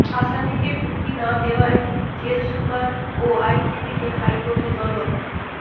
আসামিকে মুক্তি না দেওয়ায় জেলসুপার ও আইনজীবীকে হাইকোর্টে তলব